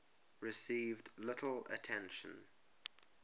received little attention